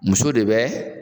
Muso de bɛ